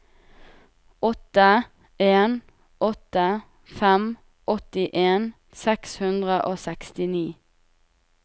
åtte en åtte fem åttien seks hundre og sekstini